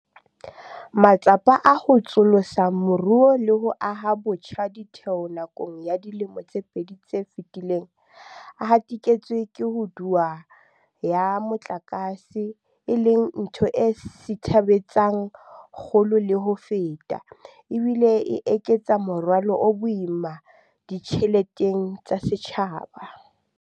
Matsapa a ho tsosolosa moruo le ho aha botjha ditheo nakong ya dilemo tse pedi tse fetileng, a hatiketswe ke ko duwa ya motlakase, e leng ntho e sithabetsang kgolo le ho feta, ebile e eketsa morwalo o boima ditjheleteng tsa setjhaba.